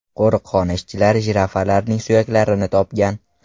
Qo‘riqxona ishchilari jirafalarning suyaklarini topgan.